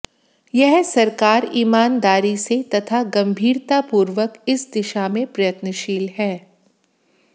यह सरकार ईमानदारी से तथा गंभीरता पूर्वक इस दिशा में प्रयत्नशील है